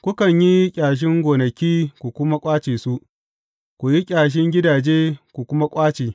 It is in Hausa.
Kukan yi ƙyashin gonaki ku kuma ƙwace su, ku yi ƙyashin gidaje ku kuma ƙwace.